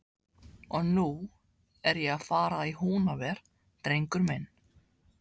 Og nú er ég að fara í Húnaver, drengur minn.